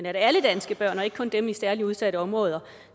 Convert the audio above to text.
at alle danske børn og ikke kun dem i særlig udsatte områder